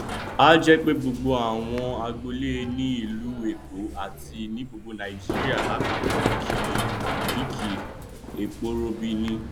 kò sí ẹnikẹni tí yóò fẹẹ gba iṣẹ ìjọba tí kò ní í ní sábúkẹẹtì ohun tí òfin wí nìyí